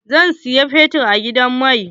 Zan siyi fetur a gidan mai.